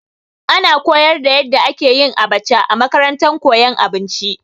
Ana koyar da yadda ake yin abacha a makarantar koyon abinci.